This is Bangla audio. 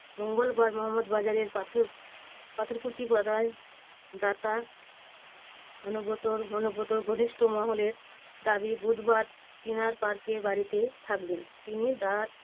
মঙ্গলবার মোহম্মদবাজারের পাথর~ পাথরকুচি পাড়ায় দাতা অনুব্রতর অনুব্রতর ঘনিষ্ঠ মহলের দাবী বুধবার চিনার পার্কের বাড়িতে থাকবেন। তিনি তার